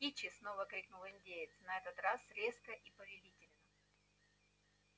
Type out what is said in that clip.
кичи снова крикнул индеец на этот раз резко и повелительно